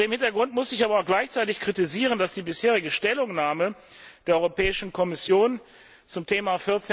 Vor diesem Hintergrund muss ich aber auch gleichzeitig kritisieren, dass die bisherige Stellungnahme der Europäischen Kommission zum Thema